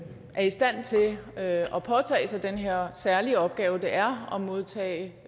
i stand til at påtage sig den her særlige opgave det er at modtage